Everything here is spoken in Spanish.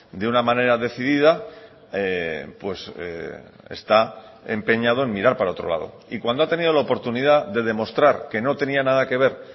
de una manera decidida está empeñado en mirar para otro lado y cuando ha tenido la oportunidad de demostrar que no tenía nada que ver